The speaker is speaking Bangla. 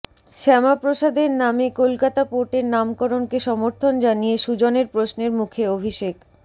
শ্যামাপ্রসাদের নামে কলকাতা পোর্টের নামকরণকে সমর্থন জানিয়ে সুজনের প্রশ্নের মুখে অভিষেক